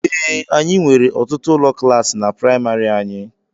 Ee, anyị nwere ọtụtụ ụlọ klaasi na praịmarị anyị.